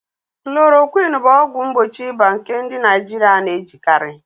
Klorokwin bụ ọgwụ mgbochi ịba nke ndị Naijiria na-ejikarị